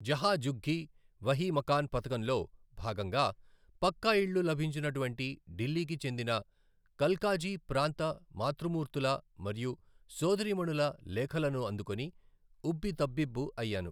జహా ఝుగ్గీ వహీ మకాన్ పథకం లో భాగంగా పక్కా ఇళ్లు లభించినటువంటి ఢిల్లీకి చెందిన కల్కాజీ ప్రాంత మాతృమూర్తుల మరియు సోదరీమణుల లేఖలను అందుకొని ఉబ్బితబ్బిబ్బు అయ్యాను.